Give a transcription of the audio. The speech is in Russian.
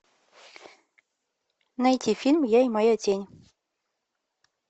найти фильм я и моя тень